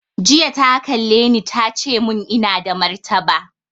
Jiya ta kalle ni ta ce mun ina da martaba